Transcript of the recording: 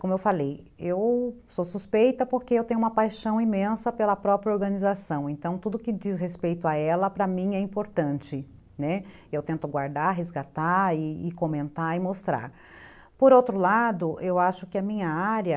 como eu falei eu sou suspeita porque eu tenho uma paixão imensa pela própria organização então tudo que diz respeito a ela para mim é importante, né, eu tento guardar resgatar e comentar e mostrar por outro lado eu acho que a minha área